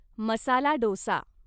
masala dosa